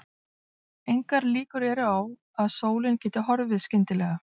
Engar líkur eru á að sólin geti horfið skyndilega.